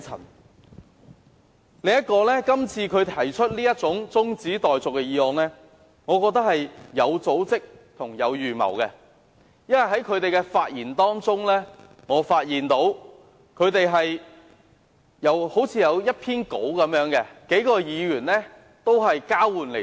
另一方面，我認為他今次提出中止待續議案，是有組織和有預謀的，因為我發現他們的發言好像有一篇講稿，由數名議員輪流朗讀。